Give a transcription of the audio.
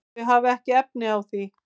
Þau hafa ekki efni á því.